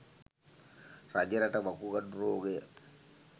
රජරට වකුගඩු රෝගය